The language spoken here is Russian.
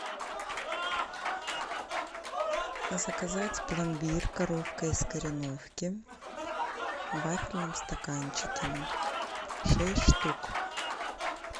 заказать пломбир коровка из кореновки в вафельном стаканчике шесть штук